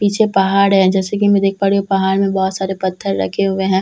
पीछे पहाड़ है जैसे कि मैं देख पा रही हूँ पहाड़ में बहोत सारे पत्थर रखे हुए हैं।